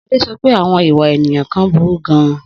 Sade sọ pé àwọn ìwà ènìyàn kan burú gan-an.